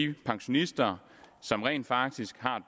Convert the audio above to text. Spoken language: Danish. de pensionister som rent faktisk har